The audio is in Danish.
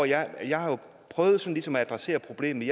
jeg jeg har så prøvet ligesom at adressere problemet